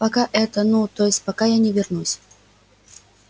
пока это ну то есть пока я не вернусь